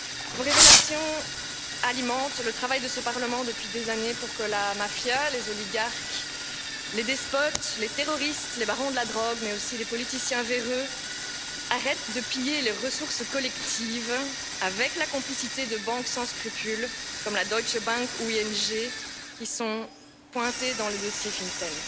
Vos révélations alimentent le travail de ce Parlement depuis des années pour que la mafia, les oligarques, les despotes, les terroristes, les barons de la drogue, mais aussi les politiciens véreux arrêtent de piller les ressources collectives avec la complicité de banques sans scrupules, comme la deutsche Bank ou ING qui sont pointées dans les dossiers FinCEN.